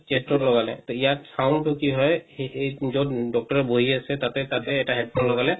chest ত লগালে তো ইয়াত sound টো কি হয় যত doctor বহি আছে তাতে তাতে এটা headphone লগালে